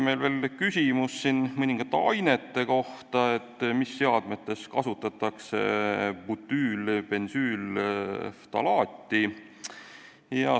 Meil tekkis küsimus mõningate ainete kohta, näiteks mis seadmetes kasutatakse butüülbensüülftalaati.